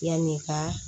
Yanni ka